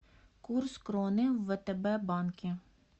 курс кроны в втб банке